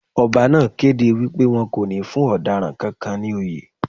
Ọba náà kéde wípé won kò ní fún ọ̀daràn kankan ní oyè.